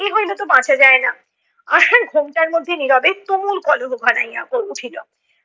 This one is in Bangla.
হইলে তো বাঁচা যায় না। আশার ঘোমটার মধ্যে নীরবে তুমুল কলহ ঘনাইয়া উঠিলো